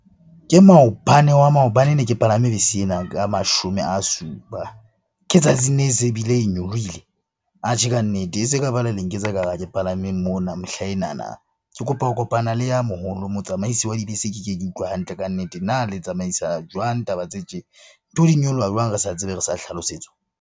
Ke maobane wa maobane ne ke palame bese ena ka mashome a supa. Ke tsatsing le, se bile e nyolohile. Atjhe ka nnete, e se le nketsa ka ekare ha ke palameng mona mehlaenana. Ke kopa ho kopana le ya moholo, motsamaisi wa dibese keke ke utlwe hantle kannete na le tsamaisa jwang taba tse tje? Ntho di nyoloha jwang re sa tsebe, re sa hlalosetswa?